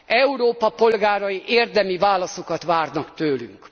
Európa polgárai érdemi válaszokat várnak tőlünk.